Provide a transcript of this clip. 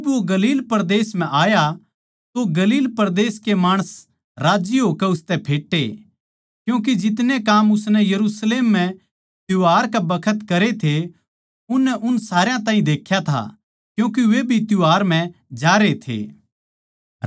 जिब वो गलील परदेस म्ह आया तो गलील परदेस के माणस राज्जी होकै उसतै फेट्टे क्यूँके जितने काम उसनै यरुशलेम म्ह त्यौहार कै बखत करे थे उननै उन सारया ताहीं देख्या था क्यूँके वे भी त्यौहार म्ह जारे थे